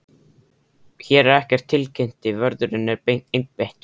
Hér er ekkert tilkynnti vörðurinn einbeittur.